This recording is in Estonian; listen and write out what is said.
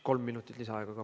Kolm minutit lisaaega ka.